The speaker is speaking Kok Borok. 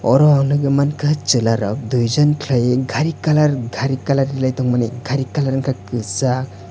oro ang nogoi mangkha selarok duijon kelaioe gari colour gari colour kelai tangmani gari colour ungka kesag.